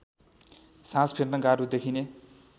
सास फेर्न गाह्रो देखिने